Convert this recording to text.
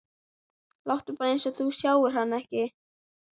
Láttu bara eins og þú sjáir hana ekki.